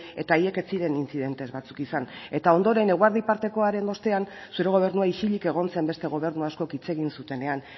eta haiek ez ziren incidentes batzuk izan eta ondoren eguerdi partekoaren ostean zure gobernua isilik egon zen beste gobernu askok hitz egin zutenean